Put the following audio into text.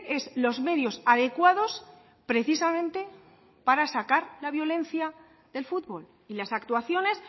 es los medios adecuados precisamente para sacar la violencia del fútbol y las actuaciones